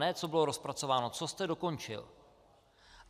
Ne co bylo rozpracováno, co jste dokončil?